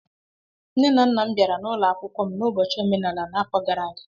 Nne na nna m bịara n'ụlọ akwụkwọ m n'ụbọchị omenala n'afọ gara aga